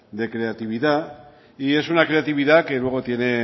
de creatividad y es una creatividad que luego tiene